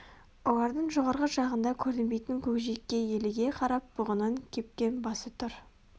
олардың жоғарғы жағында көрінбейтін көкжиекке еліге қарап бұғының кепкен басы тұр